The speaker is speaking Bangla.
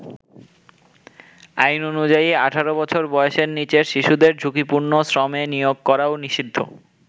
আইন অনুযায়ী ১৮ বছর বয়েসের নীচের শিশুদের ঝুঁকিপূর্ণ শ্রমে নিয়োগ করাও নিষিদ্ধ।